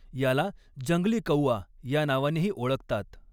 याला जंगली कौआ या नावानेही ओळखतात.